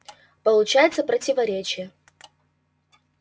получается противоречие